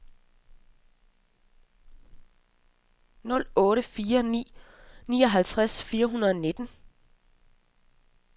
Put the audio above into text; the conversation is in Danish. nul otte fire ni nioghalvtreds fire hundrede og nitten